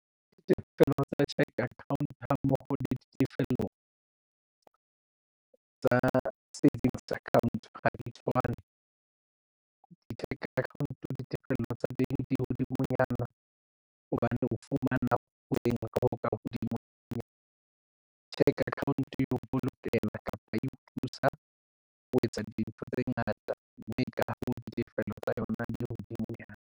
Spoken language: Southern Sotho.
Ditefello tsa cheque account ha mmoho le ditefello tsa savings account ha di tshwane di-cheque account ditefello tsa teng di hodimonyana hobane o fumana eng ho ka hodimonyana cheque account e o bolokela kapa e o thusa o etsa dintho tse ngata mme ka hoo ditefello tsa yona di hodimo.